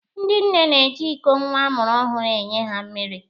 Ndị nne na-eji iko nwa a mụrụ ọhụrụ enye ha mmiri.